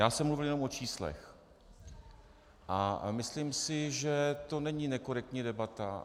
Já jsem mluvil jenom o číslech a myslím si, že to není nekorektní debata.